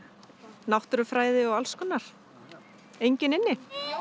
náttúrufræði og alls konar enginn inni